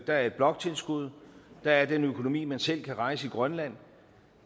er et bloktilskud og der er den økonomi man selv kan rejse i grønland